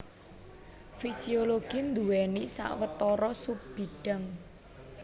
Fisiologi nduwèni sawetara subbidhang